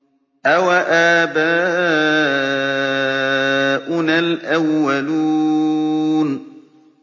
أَوَآبَاؤُنَا الْأَوَّلُونَ